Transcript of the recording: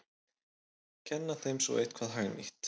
Kenna þeim svo eitthvað hagnýtt!